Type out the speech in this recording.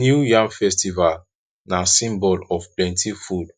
new yam festival na symbol of plenty food